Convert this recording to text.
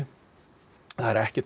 en það er ekkert